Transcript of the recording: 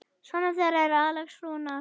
Sonur þeirra er Alex Rúnar.